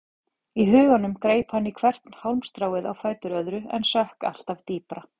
Í huganum greip hann í hvert hálmstráið á fætur öðru en sökk alltaf dýpra.